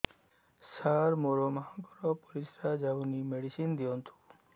ସାର ମୋର ମାଆଙ୍କର ପରିସ୍ରା ଯାଉନି ମେଡିସିନ ଦିଅନ୍ତୁ